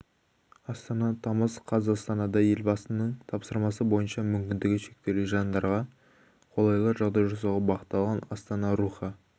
астана тамыз қаз астанада елбасының тапсырмасы бойынша мүмкіндігі шектеулі жандарға қолайлы жағдай жасауға бағытталған астана рухы